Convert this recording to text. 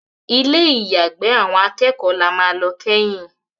Ilé àyágbé àwọn akẹ́kọ̀ọ́ là má lọ keyin.